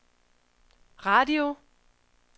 radio